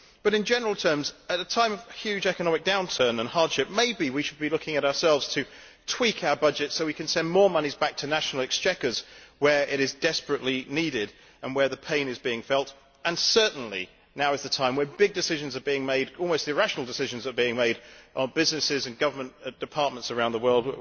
In general terms, at a time of huge economic downturn and hardship, maybe we should be looking at ourselves to tweak our budget so we can send more monies back to national exchequers where it is desperately needed and where the pain is being felt. And certainly at this time when big almost irrational decisions are being made by businesses and government departments around the world